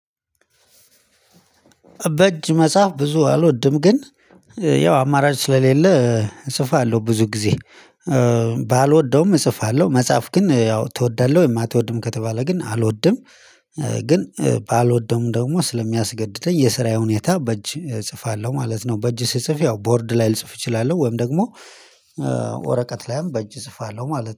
በእጅ መጽሐፍ ብዙ አልወድም ግን ያው አማራጭ ስለሌለ እጽፋለው ብዙ ጊዜ ባልወደውም እጽፋለሁ። መጽሐፍ ግን ያው ትወዳለህ የማትወድም ከተባለ ግን አልወድም። ግን ባልወደውም ደግሞ ስለሚያስገድደኝ የስራዬ ሁኔታ በእጅ እጽፋለሁ ማለት ነው። በእጅ ስጽፍ ያው ቦርድ ላይ ልጽፍ እችላለሁ ወይም ደግሞ። ወረቀት ላይም በእጅ እጽፋለሁ ማለት ነው